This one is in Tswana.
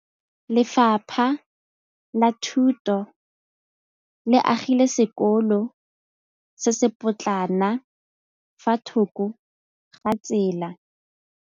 Lefapha la Thuto le agile sekôlô se se pôtlana fa thoko ga tsela.